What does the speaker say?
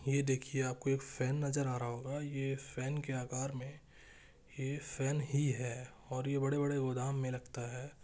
ये देखिये आप को एक फेन नज़र आ रहा होगा ये फेन के आकार में ये फेन ही है और ये बड़े बड़े गोदाम में लगता है।